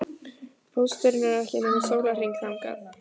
Pósturinn er ekki nema sólarhring þangað.